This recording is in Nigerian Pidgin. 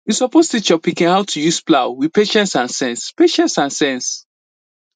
you suppose teach your pikin how to use plow with patience and sense patience and sense